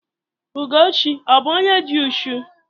Ugochi ọ bụ bu onye di ụchù?